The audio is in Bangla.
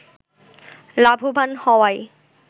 লাভবান হওয়ায়